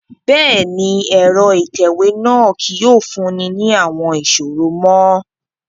Bẹ́ẹ̀ni, ẹrọ itẹwe náa kii yóò funni ni awọn iṣoro mo